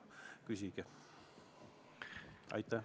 Küsige!